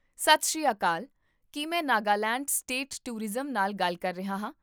ਸਤਿ ਸ੍ਰੀ ਅਕਾਲ! ਕੀ ਮੈਂ ਨਾਗਾਲੈਂਡ ਸਟੇਟ ਟੂਰਿਜ਼ਮ ਨਾਲ ਗੱਲ ਕਰ ਰਿਹਾ ਹਾਂ?